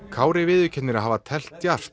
Kári viðurkennir að hafa teflt djarft